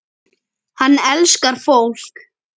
Hann elskar fólk.